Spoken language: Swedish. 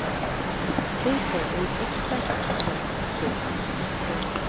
Vi kom i exakt rätt tid. punkt